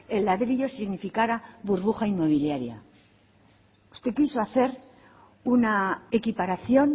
el ladrillo significara burbuja inmobiliaria usted quiso hacer una equiparación